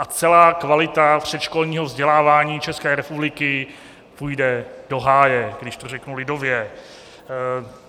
A celá kvalita předškolního vzdělávání České republiky půjde do háje, když to řeknu lidově.